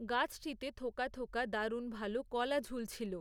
গাছটিতে থোকা থোকা দারুণ ভালো কলা ঝুলছিল।